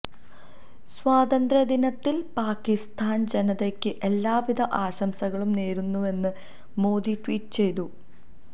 സ്വാതന്ത്ര്യദിനത്തിൽ പാക്കിസ്ഥാൻ ജനതയ്ക്ക് എല്ലാവിധ ആശംസകളും നേരുന്നുവെന്ന് മോദി ട്വീറ്റ് ചെയ്തു